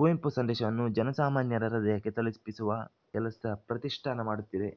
ಕುವೆಂಪು ಸಂದೇಶವನ್ನು ಜನಸಾಮಾನ್ಯರ ಹೃದಯಕ್ಕೆ ತಲುಪಿಸುವ ಕೆಲಸ ಪ್ರತಿಷ್ಠಾನ ಮಾಡುತ್ತಿದೆ